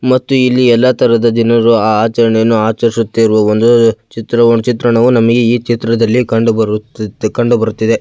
ಮತ್ತುಇಲ್ಲಿ ಎಲ್ಲ ತರಹದ ದಿನರು ಆಹ್ಹ್ ಆಚರಣೆಯನ್ನು ಆಚರಿಸುತ್ತಿರುವ ಒಂದು ಚಿತ್ರ ಚಿತ್ರಣವು ನಮಗೆ ಈ ಚಿತ್ರದಲ್ಲಿ ಕಂಡು ಕಂಡುಬರುತ್ತಿದೆ.